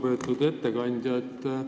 Väga lugupeetud ettekandja!